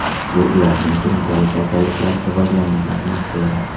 Bu ularning surunkali kasalliklari rivojlangan atmosfera.